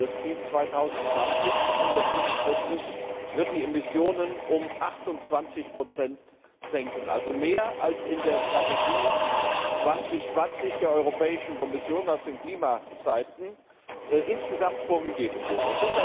Das Ziel 2020 mit 147 g wird die Emissionen um 28 senken, also mehr als in der Strategie 2020 der Europäischen Kommission aus den Klimaseiten insgesamt vorgegeben wurde.